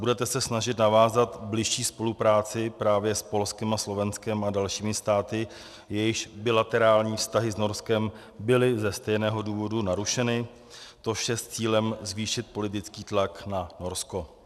Budete se snažit navázat bližší spolupráci právě s Polskem a Slovenskem a dalšími státy, jejichž bilaterální vztahy s Norskem byly ze stejného důvodu narušeny, to vše s cílem zvýšit politický tlak na Norsko?